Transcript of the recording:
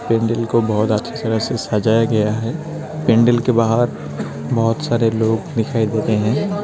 पेंडल को बहोत अच्छे तरह से सजाया गया है पेंडल के बाहर बहुत सारे लोग दिखाई देते हैं।